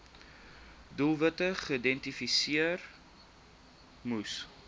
doelwitte geïdentifiseer moes